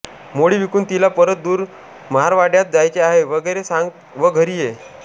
मोळी विकून तिला परत दूर महारवाड्यात जायचे आहे वगैरे सांग व घरी ये